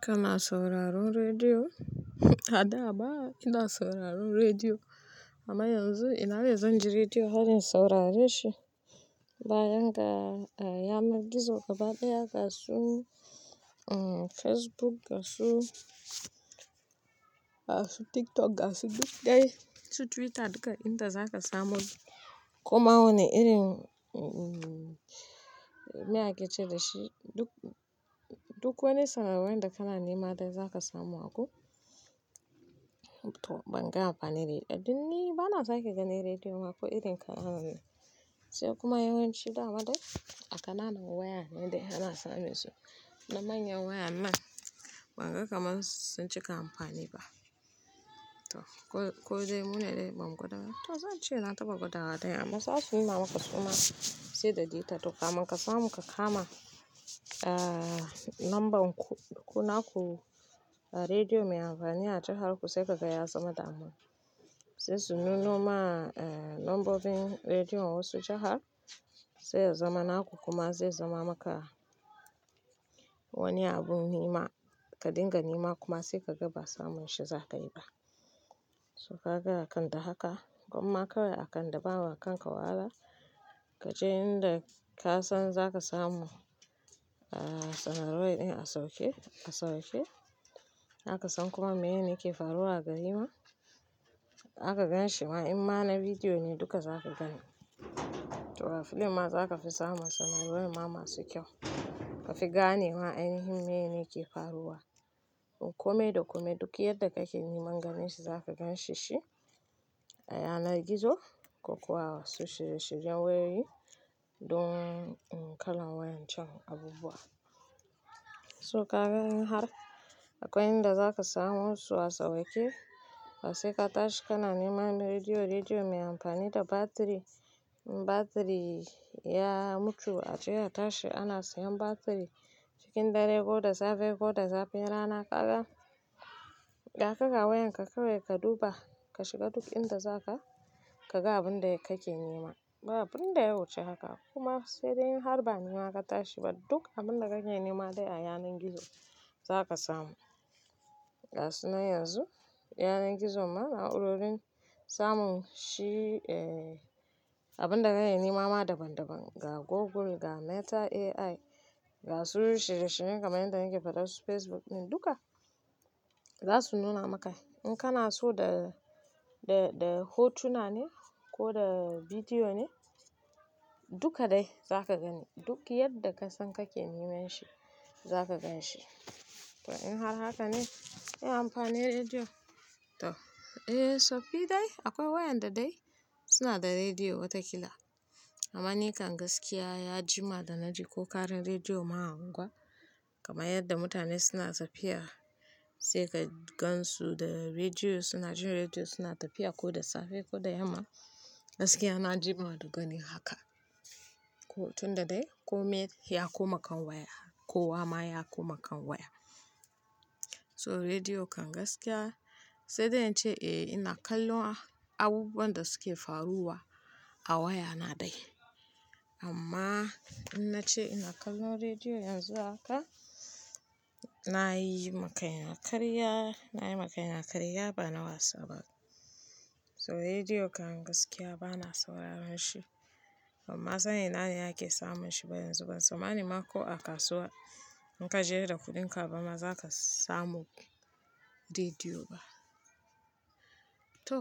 Kana sauraron rediyo? A da abba ina sauraron rediyo amma yanzu ina razan ji rediyo har in saurare shi. Bayan ga, a, yanan gizo gaba ɗaya ga su, uhm, Facebook ga su, ga su TikTok ga su duk dai, su Twitter duka inda za ka samu. Kuma wane irin, uhm, me ake ce da shi? Duk, duk wani sanarwar da kana nema dai za ka samu a ku. To ban ga amfani rediyo. Tun ni ba na sake gane rediyo ma ko irin kananan ne. Sai kuma yawanci da wa dai a kananan waya ne dai ana samesu. Na manyan waya man ban ga kamar sun cika amfani ba. To ko, ko dai mu ne dai ban gwada ba? To zan ce na taɓa gwada daya amma za su yi ma maka suma 6.30 kamar ka samu ka kama, eh, lambar ku, ku naku rediyo mai amfani a jaharku sai ka gaya zama daman. Zai tsununo ma, eh, lambobin rediyon wasu jahar zai zama naku kuma zai zama maka wani abu nema ka dinga nema kuma sai ka ga ba samun shi za ka yi ba. So ka ga akan da haka, kuma kawai a kan da ba wa kanka wahala. Ka je inda ka san za ka samu, eh, sanarwai ɗin a sauke, a sauke. Za ka san kuma me ne yake faruwa gari ma. Za ka gan shi ma, in ma na bidiyo ne duka za ka gani. To a fili ma za ka fi samun sanarwa ma masu kyau. Ka fi gane ma ainshin me yake faruwa. Kome da kome duk yadda kake neman ganin shi za ka gan shi shi. A yanar gizo ko kuwa wasu shirye-shiryen wayoyi don, uhm, kalan wayan can abubuwa. So ka ga in har akwai inda za ka samu wasu a sauke, a sai ka tashi kana nema na rediyo-rediyo mai amfani da batiri. Batiri ya mutu a je a tashi ana siyan batiri cikin dare ko da safe ko da zafin rana ka gan. Da aka ga wayan ka kawai ka duba, ka shiga duk inda za ka, ka ga abin da kake nema. Baba abin da ya wuce haka. Kuma sai dai in har ba nema ka tashi ba duk abin da kake nema dai a yanar gizo za ka samu. Ga su nan yanzu, yanar gizo ma a'urorin samun shi, eh, abin da kake nema ma daban-daban. Ga Google, ga Meta. AI, ga su shirye-shiryen kamar yadda nake faɗa su Facebook ɗin duka za su nuna maka. In kana so da, da, da hotuna ne ko da bidiyo ne duka dai za ka gani. Duk yadda ka san kake neman shi za ka gan shi. To in har haka ne in amfani rediyo? To, eh, sobbi dai akwai wayan da dai suna da rediyo wata kila. Amma ni kan gaskiya ya jima da na ji ko ƙarin rediyo ma a unguwa. Kuma yadda mutane suna tafiya sai ka gansu da rediyo suna jin rediyo suna tafiya ko da safe ko da yamma. Gaskiya na jima da ganin haka. Ko tun da dai kome ya koma kan waya, kowa ma ya koma kan waya. So rediyo kan gaskiya sai dai in ce eh ina kallon abubuwan da suke faruwa a waya na dai. Amma in na ce ina kallon rediyo yanzu haka, na yi maka yin a karya, na yi maka yin a karya ba na wasa ba. So rediyo kan gaskiya ba na sauraron shi. Amma sani ina yake samun shi ba yanzu ba. Sama ni ma ko a kasuwa in ka je da kuɗinka ba ma za ka samu rediyo ba. To,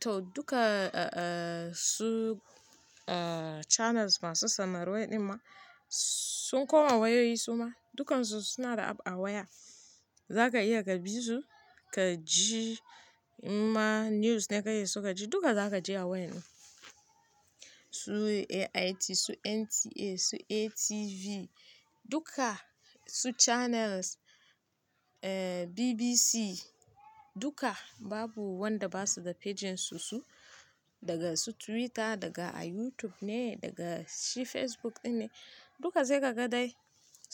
to duka, eh, su, eh, channels masu sanarwai ɗin ma sun koma wayoyi su ma. Dukansu suna da app a waya. Za ka iya ka bi su, ka ji ma news ne kake so ka ji duka za ka ji a wayan mu. Su AIT, su NTA, su ATV duka su channels, eh, BBC duka babu wanda ba su da pages su su daga su Twitter, daga a YouTube ne, daga shi Facebook ɗin ne. Duka sai ka ga dai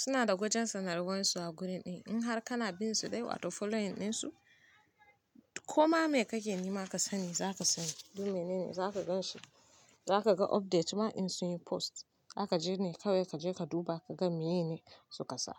suna da gwajin sanarwan su a guri ɗin. In har kana binsu dai wato following ɗinsu, koma me kake nema ka sani za ka sani. Duniyun ne ne za ka gan shi. Za ka ga update ma in sun yi post. Za ka je ne kawai ka je ka duba ka ga me ne su ka sa.